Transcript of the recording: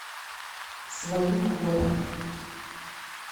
своим ходом